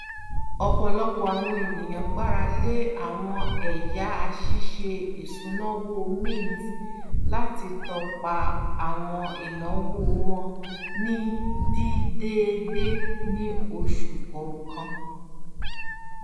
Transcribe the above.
ọpọlọpọ àwọn ènìyàn gbarale àwọn ẹyà ṣíṣe isúnàòwò mint láti tọpa àwọn ináwó wọn ní dídèédé ní oṣù kọọkan